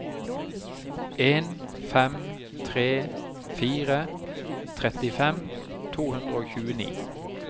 en fem tre fire trettifem to hundre og tjueni